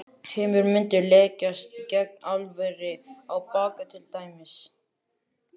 Heimir: Muntu leggjast gegn álveri á Bakka til dæmis?